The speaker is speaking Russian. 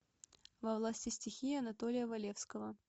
во власти стихии анатолия валевского